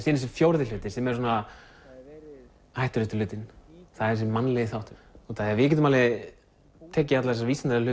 er þessi fjórði hluti sem er svona hættulegasti hlutinn það er þessi mannlegi þáttur út af því að við getum alveg tekið alla þessa vísindalegu